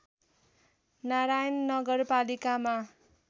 नारायण नगरपालिकामा